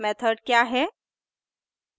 method क्या है